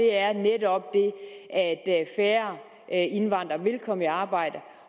er netop det at færre indvandrere vil komme i arbejde